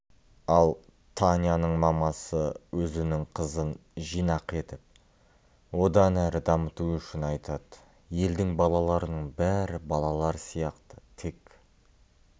ал таняның мамасы өзінің қызын жинақы етіп одан әрі дамыту үшін айтады елдің балаларының бәрі балалар сияқты тек